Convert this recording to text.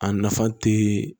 A nafa te